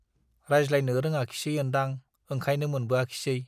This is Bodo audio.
रायज्लायनो रोङाखिसै ओन्दां, ओंखायनो मोनबोआखिसै?